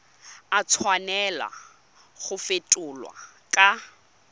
a tshwanela go fetolwa kwa